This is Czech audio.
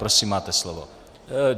Prosím, máte slovo.